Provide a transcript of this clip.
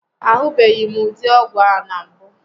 A hụbeghịm ụdị ọgwụ a na mbụ